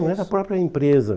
Não, era a própria empresa.